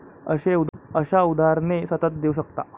अशा उदाहरणे सतत देऊ शकता.